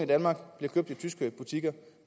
danmark bliver købt i tyske butikker